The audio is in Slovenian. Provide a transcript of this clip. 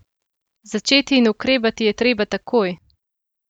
Začeti in ukrepati je treba takoj!